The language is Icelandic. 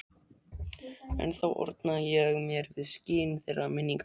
Ennþá orna ég mér við skin þeirra minninga.